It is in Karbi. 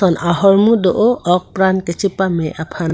ahormu do o ok pran kachepame aphan.